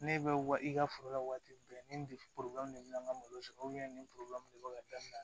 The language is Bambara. Ne bɛ wa i ka foro la waati bɛɛ ni de bɛ na n ka malo sɔrɔ nin de bɛ ka dabila